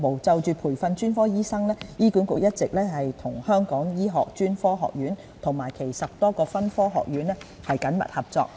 就培訓專科醫生方面，醫管局一直與香港醫學專科學院及其10多個分科學院緊密合作。